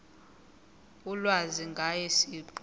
ulwazi ngaye siqu